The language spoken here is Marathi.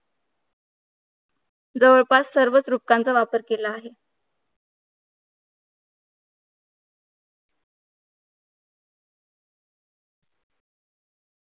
जवळपास सर्वच रूपकांचावापर केला आहे